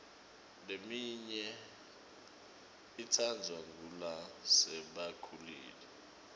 leminye itsandvwa ngulasebakhulile